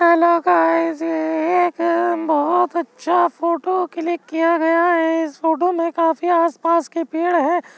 Hello guys ये एक बहोत अच्छा फोटो क्लिक किया गया है। इस फोटो में काफी आसपास के पेड़ है।